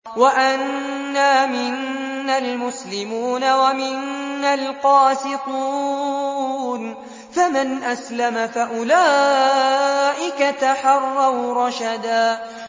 وَأَنَّا مِنَّا الْمُسْلِمُونَ وَمِنَّا الْقَاسِطُونَ ۖ فَمَنْ أَسْلَمَ فَأُولَٰئِكَ تَحَرَّوْا رَشَدًا